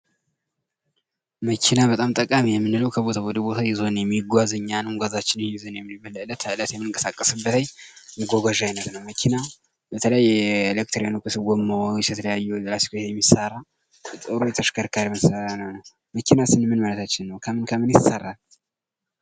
መኪና በጣም ጠቃሚ የምንለው ከቦታ ወደ ቦታ ይዞን የሚጓዝ እኛንም ጓዛችንም የምንቀሳቀስበት የመጓጓዣ አይነት ነው። በተለይ የኤሌክትሮኒክስ ጎማዎች የሚሰራ ነው። መኪና ስንል ምን ማለታችን ነው ከምን ከምንስ ይሰራል።